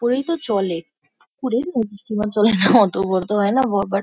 পুকুরেই তো চলে। পুকুরে তো স্টিমার চলে না। অতো বড়োতো হয় না ব বাট --